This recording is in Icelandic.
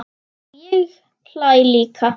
Og ég hlæ líka.